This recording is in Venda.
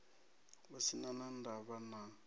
hu si na ndavha na